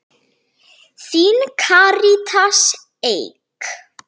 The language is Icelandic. Þín, Karítas Eik.